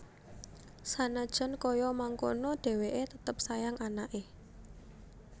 Sanajan kaya mangkono dheweke tetep sayang anake